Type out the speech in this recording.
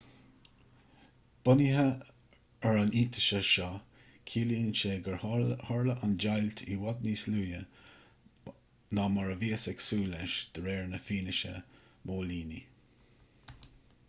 bunaithe ar an iontaise seo ciallaíonn sé gur tharla an deighilt i bhfad níos luaithe ná mar a bhíothas ag súil leis de réir na fianaise móilíní